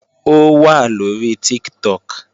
Ó wà lóri Tiktok